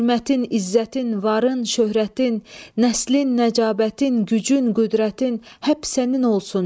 Hörmətin, izzətin, varın, şöhrətin, nəslin, nəcabətin, gücün, qüdrətin, hər sənin olsun.